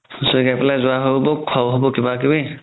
হুচৰি গাই পেলেই গুৱাও হ'ব খুৱাও হ'ব কিবা কিবি